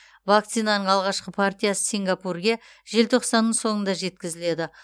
вакцинаның алғашқы партиясы сингапурге желтоқсанның соңында жеткізіледі